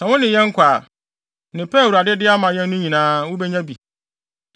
Sɛ wo ne yɛn kɔ a, nneɛma pa a Awurade de bɛma yɛn no nyinaa, wubenya bi.”